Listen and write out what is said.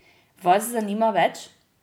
Vas zanima več?